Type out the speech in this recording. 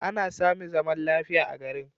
An sami zaman lafiya a garin.